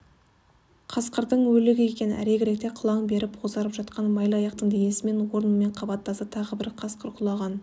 қасқырдың өлігі екен әрегіректе қылаң беріп бозарып жатқан майлыаяқтың денесі онымен қабаттаса тағы бір қасқыр құлаған